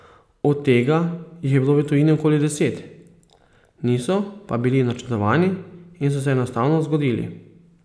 Od tega jih je bilo v tujini okoli deset, niso pa bili načrtovani in so se enostavno zgodili.